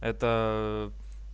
это